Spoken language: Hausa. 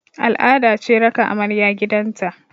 Al'ada ce raka amarya gidan ta